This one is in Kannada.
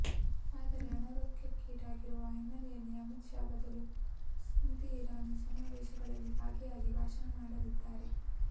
ಆದರೆ ಅನಾರೋಗ್ಯಕ್ಕೀಡಾಗಿರುವ ಹಿನ್ನೆಲೆಯಲ್ಲಿ ಅಮಿತ್ ಶಾ ಬದಲು ಸ್ಮೃತಿ ಇರಾನಿ ಸಮಾವೇಶಗಳಲ್ಲಿ ಭಾಗಿಯಾಗಿ ಭಾಷಣ ಮಾಡಲಿದ್ದಾರೆ